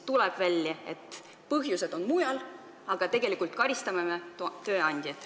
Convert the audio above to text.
Tuleb välja, et põhjused on mujal, aga me karistame tööandjat.